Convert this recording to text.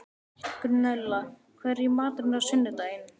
Gunnella, hvað er í matinn á sunnudaginn?